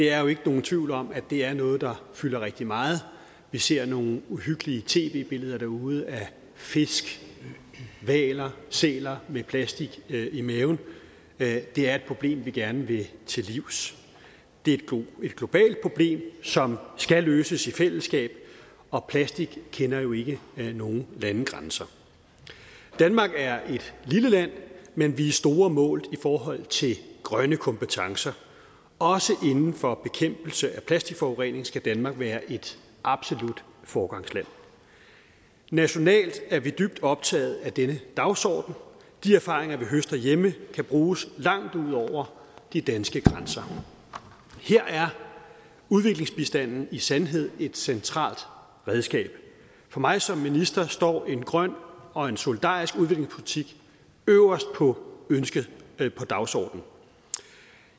er jo ikke nogen tvivl om at det er noget der fylder rigtig meget vi ser nogle uhyggelige tv billeder derude af fisk hvaler sæler med plastik i maven det er et problem vi gerne vil til livs det er et globalt problem som skal løses i fællesskab og plastik kender jo ikke nogen landegrænser danmark er et lille land men vi er store målt i forhold til grønne kompetencer også inden for bekæmpelse af plastikforurening skal danmark være et absolut foregangsland nationalt er vi dybt optaget af denne dagsorden de erfaringer vi høster hjemme kan bruges langt ud over de danske grænser her er udviklingsbistanden i sandhed et centralt redskab for mig som minister står en grøn og en solidarisk udviklingspolitik øverst på dagsordenen